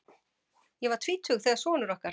Ég var tvítug þegar sonur okkar